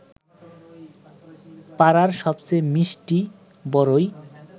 পাড়ার সবচেয়ে মিষ্টি বরই